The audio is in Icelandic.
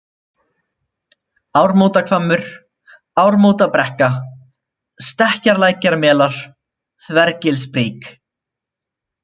Ármótahvammur, Ármótabrekka, Stekkjarlækjarmelar, Þvergilsbrík